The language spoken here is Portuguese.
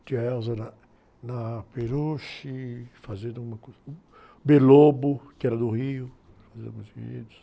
Tinha a na, na Peruche, fazendo. que era do Rio, fez alguns enredos.